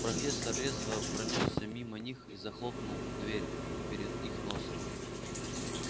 профессор резво пронёсся мимо них и захлопнул дверь перед их носом